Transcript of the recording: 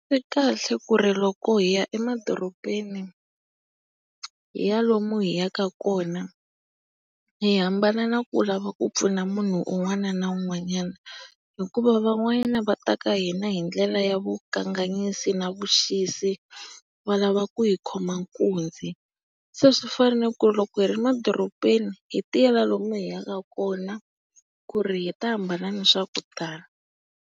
Swi kahle ku ri loko hi ya emadorobeni, hiya lomu hi yaka kona, hi hambanana na ku lava ku pfuna munhu un'wana na un'wanyana hikuva van'wana va ta eka hina hi ndlela ya vukanganyisi na vuxisi va lava ku hi khoma nkunzi. Se swi fanele ku loko hi ri madorobeni hi tiyela lomu hi yaka kona ku ri hi ta hambana na swa ku tala.